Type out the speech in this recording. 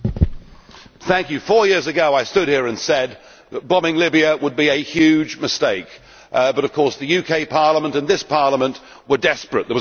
Mr President, four years ago I stood here and said that bombing Libya would be a huge mistake, but of course the UK Parliament and this Parliament were desperate.